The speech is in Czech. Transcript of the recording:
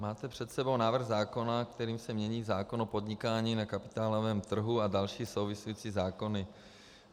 Máte před sebou návrh zákona, kterým se mění zákon o podnikání na kapitálovém trhu a další související zákony.